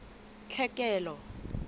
tlhekelo